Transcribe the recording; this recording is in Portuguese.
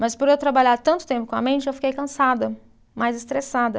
Mas por eu trabalhar tanto tempo com a mente, eu fiquei cansada, mais estressada.